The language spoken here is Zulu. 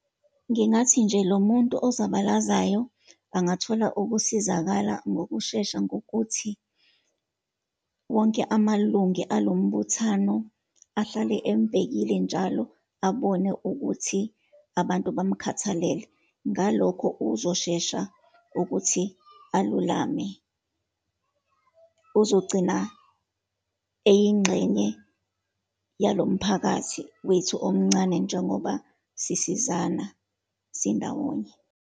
Ngingathi nje lo muntu ozobalazayo angathola ukusizakala ngokushesha, ngokuthi wonke amalungi alumbuthano ahlale embhekile njalo, abone ukuthi abantu bamkhathalele. Ngalokho uzoshesha ukuthi alulame. Uzogcina eyingxenye yalo mphakathi wethu omncane, njengoba sisizana, sindawonye.